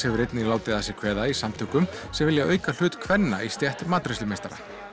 hefur einnig látið að sér kveða í samtökum sem vilja auka hlut kvenna í stétt matreiðslumeistara